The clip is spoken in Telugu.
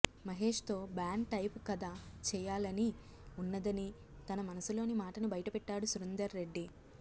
మహేష్ తో బాండ్ టైపు కథ చేయాలనీ ఉన్నదని తన మనసులోని మాటను బయటపెట్టాడు సురేందర్ రెడ్డి